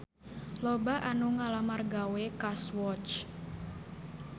Loba anu ngalamar gawe ka Swatch